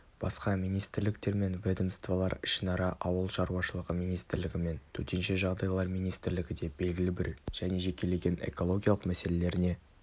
басқа министрліктер мен ведомстволар ішінара ауыл шаруашылығы министрлігі мен төтенше жағдайлар министрлігі де белгілі бір және жекелеген экологиялық мәселелеріне